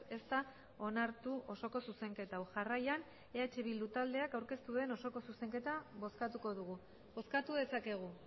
ez da onartu osoko zuzenketa hau jarraian eh bildu taldeak aurkeztu duen osoko zuzenketa bozkatuko dugu bozkatu dezakegu